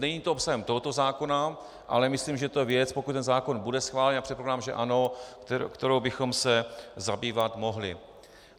Není to obsahem tohoto zákona, ale myslím, že to je věc, pokud ten zákon bude schválen, a předpokládám, že ano, kterou bychom se zabývat mohli.